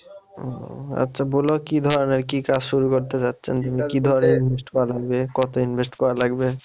ও আচ্ছা বল কি ধরনের কি কাজ শুরু করতে চাচ্ছেন কি ধরনের invest করা লাগবে কত invest করা লাগবে?